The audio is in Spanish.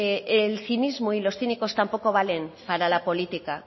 el cinismo y los cínicos tampoco valen para la política